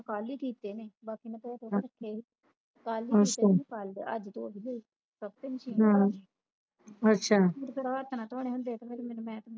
ਕੱਲ ਹੀ ਕਿਤੇ ਨੇ ਬਾਕੀ ਮੈਂ ਧੋਹ ਧੋਹ ਰੱਖੇ ਕੱਲ ਹੀ ਕਿਤੇ ਨੇ ਅੱਜ ਧੋਹ ਵੀ ਲੀਆਈ ਕੱਪੜੇ Machine ਮੈਂ ਕਿਹੜਾ ਹੱਥ ਨਾਲ ਧੋਣਾ ਹੁੰਦੇ ਤੇ ਫਿਰ ਮੈਂ